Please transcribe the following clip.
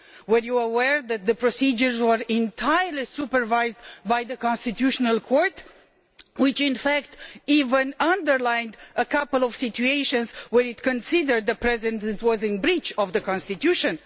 Were you aware that the procedures were entirely supervised by the Constitutional Court, which in fact even underlined a couple of situations were it considered the President was in breach of the constitution?